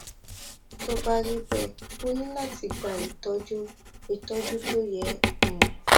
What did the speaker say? tó bá rí bẹẹ o ní láti gba ìtọjú ìtọjú tó yẹ um